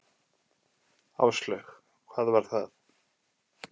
Áslaug: Hvað var það?